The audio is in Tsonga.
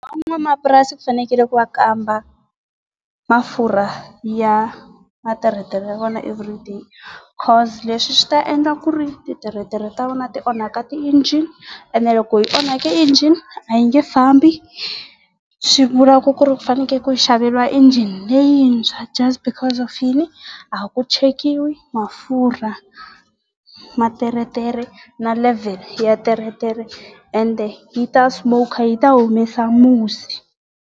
Van'wanamapurasi ku fanekele ku va kamba wamafurha ya materetere ya vona everyday cause leswi swi ta ndle ku ri ti teretere ta vona ti onhaka ti engine, ene loko yi onhake engine a yi nge fambi. Swivulaka ku ri fanekele ku xaveriwa engine leyintshwa just because of yini, a ku chekiwi mafurha ma teretere na levhele ya teretere ende yi ta yi ta humesa musi.